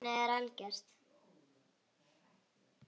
Bannið er algert.